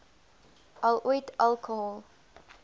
al ooit alkohol